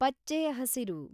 ಪಚ್ಚೆ ಹಸಿರು